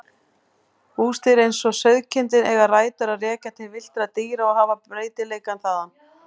Húsdýr eins og sauðkindin eiga rætur að rekja til villtra dýra og hafa breytileikann þaðan.